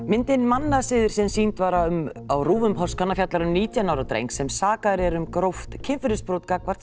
myndin mannasiðir sem sýnd var á RÚV um páskana fjallar um nítján ára dreng sem sakaður er um gróft kynferðisbrot gagnvart